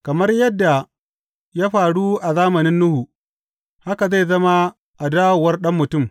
Kamar yadda ya faru a zamanin Nuhu, haka zai zama a dawowar Ɗan Mutum.